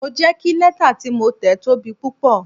Mo jẹ́ kí lẹ́tà tí mo tẹ̀ tóbi púpọ̀.